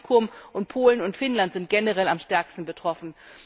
Das Baltikum, Polen und Finnland sind generell am stärksten betroffen.